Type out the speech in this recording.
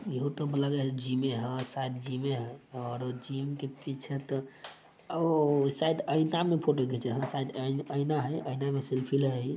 ईहो तो लगे है जीम है शायद जीमे है। और जिम के पीछे तो ओ शायद आईना में फोटो खींचा है। शायद है आईना है आईना सेल्फी लेही-